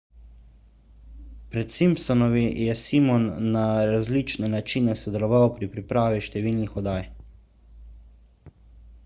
pred simpsonovimi je simon na različne načine sodeloval pri pripravi številnih oddaj